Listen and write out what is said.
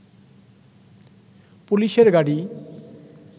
পুলিশের গাড়ি